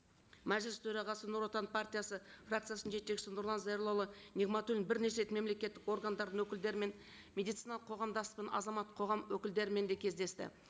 мәжіліс төрағасы нұр отан партиясы фракциясының жетекшісі нұрлан зайроллаұлы нығматуллин бірнеше рет мемлекеттік органдардың өкілдерімен медициналық қоғамдас пен азаматтық қоғам өкілдерімен де кездесті